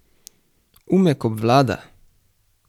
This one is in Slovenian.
Umek obvlada!